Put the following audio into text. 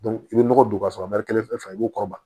i bɛ nɔgɔ don ka sɔrɔ kelen fɛn fɛn b'u kɔrɔba